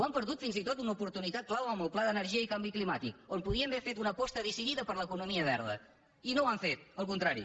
han perdut fins i tot una oportunitat clau amb el pla d’energia i canvi climàtic on podien haver fet una aposta decidida per l’economia verda i no ho han fet al contrari